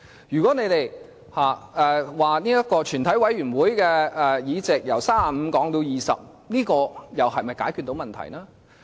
如果你們說，要將全體委員會的會議法定人數，由35人降至20人，這又是否解決到問題呢？